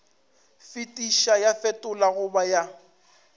fetiša ya fetola goba ya